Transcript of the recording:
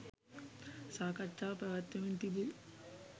සාකච්ඡාව පැවැත්වෙමින් තිබු